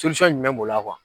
jumɛn b'o la